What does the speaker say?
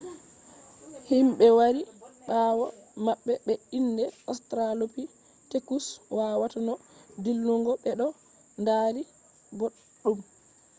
himɓe wari ɓawo maɓɓe be inde ostralopitekus wawata no dillugo ɓe ɗo dari boɗɗum